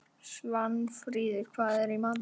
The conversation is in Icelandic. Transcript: Svanfríður, hvað er í matinn?